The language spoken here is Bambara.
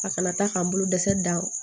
A kana taa k'an bolo dɛsɛ dan